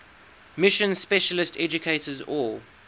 mission specialist educators or